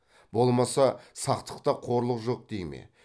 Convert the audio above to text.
болмаса сақтықта қорлық жок дей ме